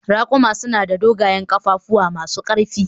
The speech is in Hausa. Raƙuma suna da dogayen ƙafafu masu ƙarfi